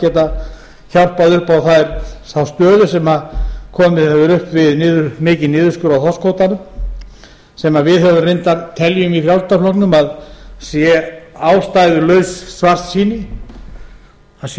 geta hjálpað upp á þá stöðu sem komið hefur upp við mikinn niðurskurð á þorskkvótanum sem við reyndar teljum í frjálslynda flokknum að sé ástæðulaus svartsýni það sé